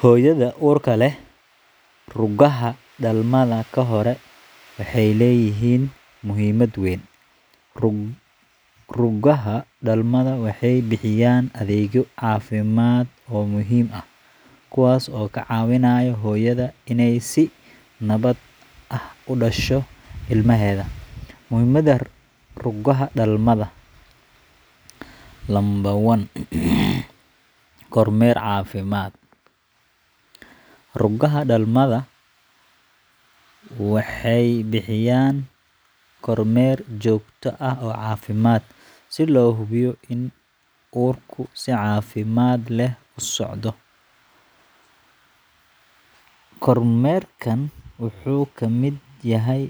Hooyada uurka leh, rugaha dhalmada ka hor waxay leeyihiin muhiimad weyn. Rugaha dhalmada waxay bixiyaan adeegyo caafimaad oo muhiim ah, kuwaas oo ka caawinaya hooyada inay si nabad ah ugu dhasho ilmaheeda. Muhiimada Rugaha Dhalmada Kormeer Caafimaad Rugaha dhalmada waxay bixiyaan kormeer joogto ah oo caafimaad, si loo hubiyo in uurku si caafimaad leh u socdo. Kormeerkan wuxuu ka mid yahay